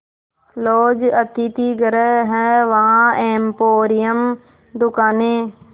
laws अतिथिगृह हैं वहाँ एम्पोरियम दुकानें